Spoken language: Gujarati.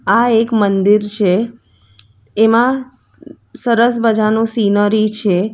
આ એક મંદિર છે એમાં સરસ મજાનું સીનરી છે.